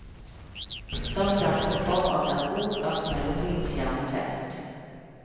Sørg derfor for at det er god plass mellom vindskjerm og telt.